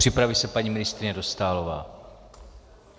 Připraví se paní ministryně Dostálová.